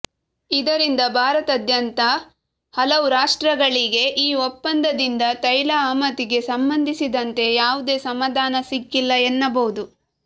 ಇದರಿಂದ ಭಾರತದಂಥ ಹಲವು ರಾಷ್ಟ್ರಗಳಿಗೆ ಈ ಒಪ್ಪಂದದಿಂದ ತೈಲ ಆಮದಿಗೆ ಸಂಬಂಧಿಸಿದಂತೆ ಯಾವುದೇ ಸಮಾಧಾನ ಸಿಕ್ಕಿಲ್ಲ ಎನ್ನಬಹುದು